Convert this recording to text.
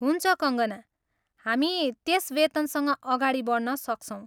हुन्छ, कङ्गना, हामी त्यस वेतनसँग अगाडि बढ्न सक्छौँ।